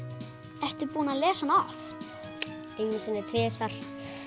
ertu búinn að lesa hana oft einu sinni eða tvisvar